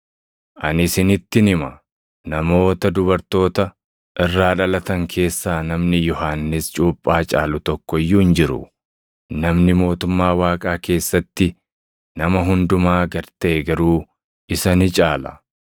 Ani isinittin hima; namoota dubartoota irraa dhalatan keessaa namni Yohannis cuuphaa caalu tokko iyyuu hin jiru; namni mootummaa Waaqaa keessatti nama hundumaa gad taʼe garuu isa ni caala.”